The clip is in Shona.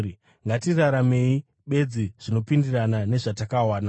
Ngatiraramei bedzi zvinopindirana nezvatakawana.